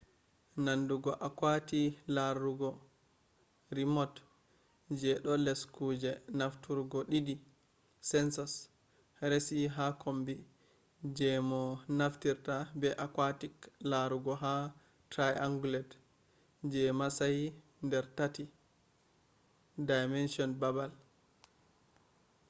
nandugo aquati larurgo remote je je do les kuje nafturgo didi sensors resi ha kombi je mo naftirta be aquatic larugo ha triangulate je matsayi dar tatti-dimension babal